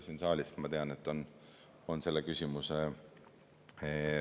Siin saalis, ma tean, on selle küsimuse fänne küll.